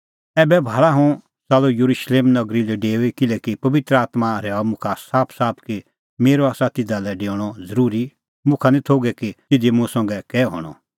एभै भाल़ा हुंह च़ाल्लअ येरुशलेम नगरी लै डेऊई किल्हैकि पबित्र आत्मां रहैऊअ मुखा साफसाफ कि मेरअ आसा तिधा लै डेऊणअ ज़रूरी और मुखा निं थोघै कि तिधी मुंह संघै कै हणअ